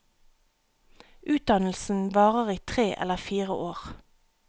Utdannelsen varer i tre eller fire år.